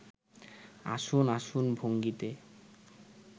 আসুন আসুন ভঙ্গিতে